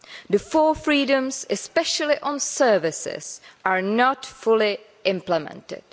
The four freedoms, especially on services, are not fully implemented.